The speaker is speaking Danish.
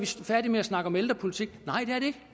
færdige med at snakke om ældrepolitik nej